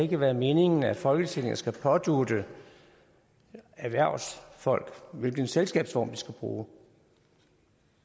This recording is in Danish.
kan være meningen at folketinget skal pådutte erhvervsfolk hvilken selskabsform de skal bruge